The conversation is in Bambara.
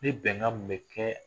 Ni bɛnkan min bɛ kɛ